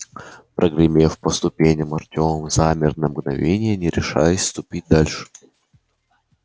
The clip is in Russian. прогремев по ступеням артём замер на мгновение не решаясь ступить дальше